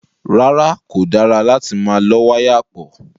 Rárá, kò dára láti máa lọ́ wáyà pọ̀.